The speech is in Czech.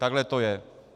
Takhle to je.